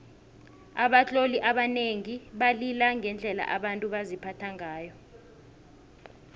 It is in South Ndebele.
abatloli abanengi balila ngendlela abantu baziphatha ngayo